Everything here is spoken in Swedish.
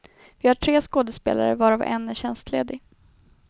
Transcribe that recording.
Vi har tre skådespelare, varav en är tjänstledig.